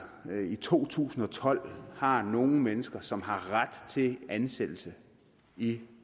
i to tusind og tolv har nogle mennesker som har ret til ansættelse i